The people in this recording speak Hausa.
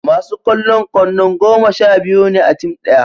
masu kwallon kwandon goma sha biyu ne a tim daya